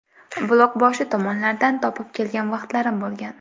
Buloqboshi tomonlardan topib kelgan vaqtlarim bo‘lgan.